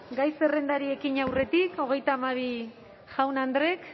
gai zerrendari ekin aurretik hogeita hamabi jaun andreek